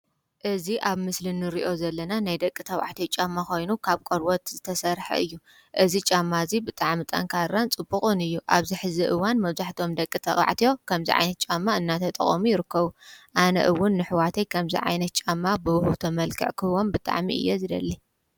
እዚ ኣብ ምስሊ ንሪኦ ዘለና ናይ ደቂ ተባዕትዮ ጫማ ኮይኑ ካብ ቆርበት ዝተሰረሐ እዩ ። እዚ ጫማ እዚ ብጣዕሚ ጠንካራን ፅቡቑን እዩ። ኣብዚ ሐዚ እዋን መብዛሕትኦም ደቂ ተባዕትዮ ከምዚ ዓይነት ጫማ እናተጠቐሙ ይርከቡ። አነ እውን ንኣሕዋተይ ከምዚ ዓይነት ጫማ ብውህብቶ መልክዕ ክህቦም ብጣዕሚ እየ ዝደሊ።